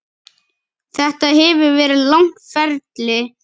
Þetta hefur verið langt ferli.